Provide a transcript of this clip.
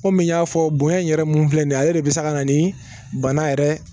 Komi n y'a fɔ bonɲɛ in yɛrɛ mun filɛ nin ye ale de bɛ se ka na ni bana yɛrɛ